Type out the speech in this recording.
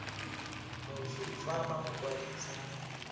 moswi fa ba mo kwadisa